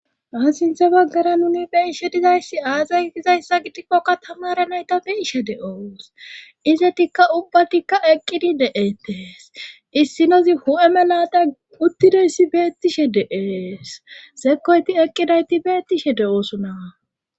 Ha sinthe baggara nuni beishe dizayssi aazay dizayssa gidikkoka tamara nayta biishe de7oos izetikka ubbatikka eqqidi de7etees issinozi hu7eme laata uttideyssi beettishe de7ees sekoyti eqqidayti beettishe de7oosona.